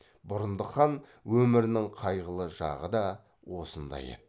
бұрындық хан өмірінің қайғылы жағы да осында еді